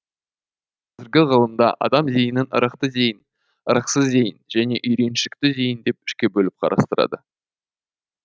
қазіргі ғылымда адам зейінін ырықты зейін ырықсыз зейін және үйреншікті зейін деп үшке бөліп қарастырады